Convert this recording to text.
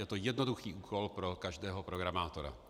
Je to jednoduchý úkol pro každého programátora.